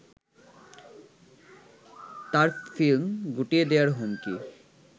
তার ফ্লিম গুটিয়ে দেয়ার হুমকি